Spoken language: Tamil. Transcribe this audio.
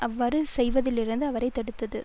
அவ்வாறு செய்வதிலிருந்து அவரை தடுத்தது